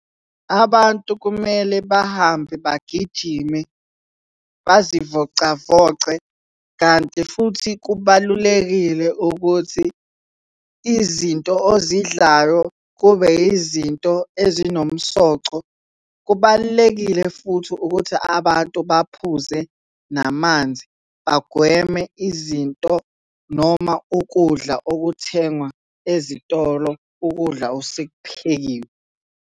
Abantu kumele bahambe bagijime bazivocavoce kanti futhi kubalulekile ukuthi izinto ozidlayo kube yizinto ezinomsoco. Kubalulekile futhi ukuthi abantu baphuze namanzi, bagweme izinto noma ukudla okuthengwa ezitolo, ukudla osekuphekiwe.